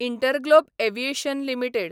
InterGlobe Aviation limited